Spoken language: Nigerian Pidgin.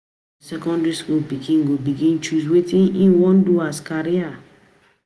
Na for secondry school pikin go begin choose wetin im wan do as career